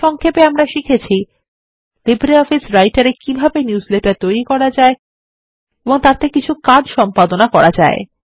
সংক্ষেপে আমরা শিখেছি লিব্রিঅফিস রাইটার এ কিভাবে নিউজলেটার তৈরি করা যায় এবং তাদের ওপর কিছু কাজ সম্পাদনা করা যেতে পারে